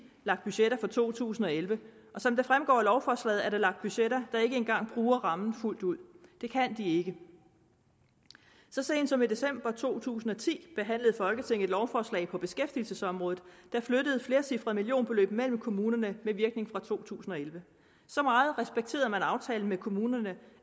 lagt budgetter for to tusind og elleve og som det fremgår af lovforslaget er der lagt budgetter der ikke en gang bruger rammen fuldt ud det kan de ikke så sent som i december to tusind og ti behandlede folketinget et lovforslag på beskæftigelsesområdet der flyttede flercifrede millionbeløb mellem kommunerne med virkning fra to tusind og elleve så meget respekterede man aftalen med kommunerne